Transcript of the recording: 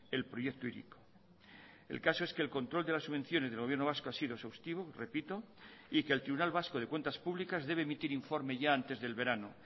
el proyecto hiriko el caso es que el control de las subvenciones del gobierno vasco ha sido exhaustivo repito y que el tribunal vasco de cuentas públicas debe emitir informe ya antes del verano